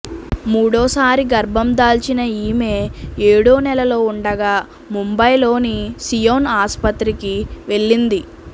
మూడోసారి గర్భం దాల్చిన ఈమె ఏడోనెలలో ఉండగా ముంబైలోని సియోన్ ఆసుపత్రికి వెళ్లింది